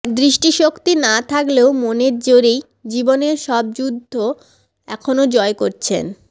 দৃষ্টিশক্তি না থাকলেও মনের জোরেই জীবনের সব যুদ্ধ এখন জয় করছেন